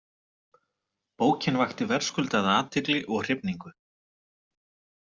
Bókin vakti verðskuldaða athygli og hrifningu.